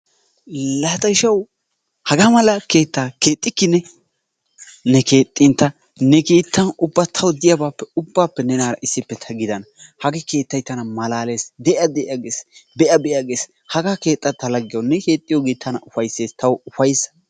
Laa ta ishawu hagaa mala keettaa keexxikki ne, ne keexxin ta ne keettan tawu diyabaappe ubbaappe nenaara issippe ta gidana. Hagee keettay tana malaalees. Be'a be'a gees, de'a de'a gees. Ne keexxiyogee tana ufayssees tawu ufayssa.